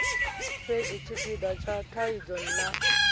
fhedzi tshipida tsha thaidzo na